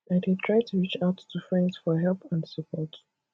i dey try to reach out to friends for help and support